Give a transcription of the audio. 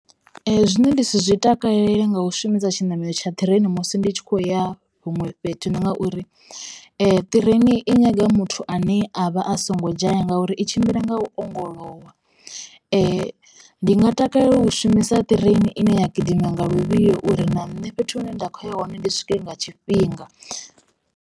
Zwine nda zwi takalela nga u shumisa tshiṋamelo tsha ṱireini musi ndi tshi khou ya huṅwe fhethu ndi ngauri. Ṱireni i nyaga muthu ane a vha a songo dzhaya ngauri i tshi tshimbila nga u ongolowa, ndi nga takalela u shumisa ṱireini ine ya gidima nga luvhilo uri na nṋe fhethu hune nda kho ya hone ndi swike nga tshifhinga.